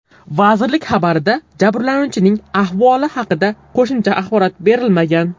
Vazirlik xabarida jabrlanuvchining ahvoli haqida qo‘shimcha axborot berilmagan.